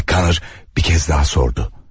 Mak kanər bir kəz daha sordu.